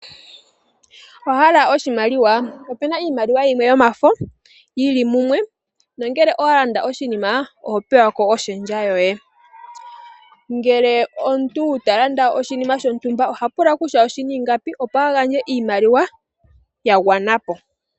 Owa hala oshimaliwa? opena iimaliwa yimwe yomafo yili mumwe nongele owa landa oshinima oho pewa ko oshendja yoye. Ngele omuntu ta landa oshinima shontumba oha pula kutya oshina ingapi opo a gandje iimaliwa ya gwana po.